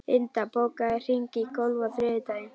Inda, bókaðu hring í golf á þriðjudaginn.